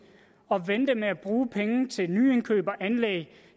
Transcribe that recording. at vente med at bruge penge til nye indkøb og anlæg